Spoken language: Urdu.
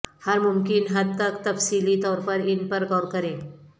ہر ممکن حد تک تفصیلی طور پر ان پر غور کریں